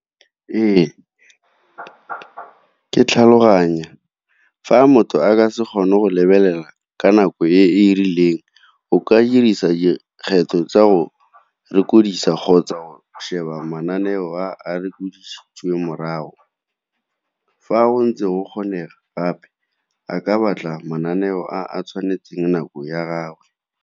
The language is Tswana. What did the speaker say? Ee, ke tlhaloganya fa motho a ka se kgone go lebelela ka nako e e rileng o ka dirisa dikgetho tsa go kgotsa sheba mananeo a a morago. Fa go ntse go kgonega gape a ka batla mananeo a a tshwanetseng nako ya gagwe.